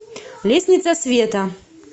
лестница света